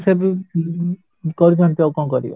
ଉଁ କରୁଛନ୍ତି ତ ଆଉ କଣ କରିବା